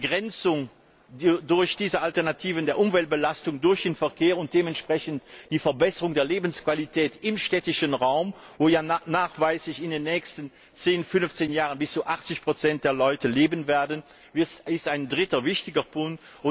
Die durch diese Alternativen erreichbare Begrenzung der Umweltbelastung durch den Verkehr und dementsprechend die Verbesserung der Lebensqualität im städtischen Raum, wo ja nachweislich in den nächsten zehn, fünfzehn Jahren bis zu 80 der Menschen leben werden, ist ein dritter wichtiger Punkt.